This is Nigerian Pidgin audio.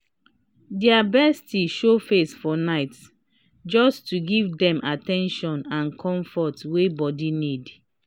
dia bestie show face for nightjust to give dem at ten tion and comfort wey bodi need